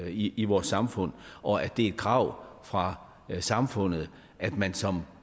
i i vores samfund og at det er et krav fra samfundet at man som